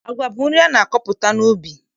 Agwa bụ nri a na-akọpụta n'ubi.